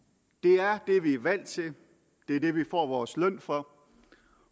det er det vi er valgt til det er det vi får vores løn for